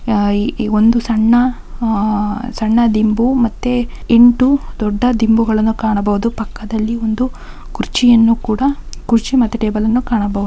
ಆ ಒಂದು ಸಣ್ಣ ಸಣ್ಣ ದಿಂಬು ಮತ್ತು ಎಂಟು ದೊಡ್ಡ ದಿಂಬುಗಳನ್ನು ಕಾಣಬಹುದು ಪಕ್ಕದಲ್ಲಿ ಒಂದು ಕುರ್ಚಿಯನ್ನು ಕೂಡ ಕುರ್ಚಿ ಮತ್ತು ಟೇಬಲನ್ನು ಕೂಡ ಕಾಣಬಹುದು.